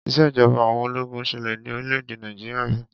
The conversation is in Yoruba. Ìṣèjọba àwọn ológun ṣẹlẹ ní orílẹ̀-èdè Nàìjíríà ri.